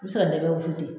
I bɛ se ka nɛgɛ wusu de